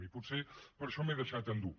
i potser per això m’he deixat endur